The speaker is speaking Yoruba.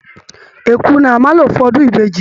Èkuru ni a máa lò fún ọdún ìbejì